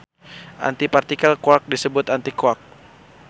Antipartikel quark disebut antiquark.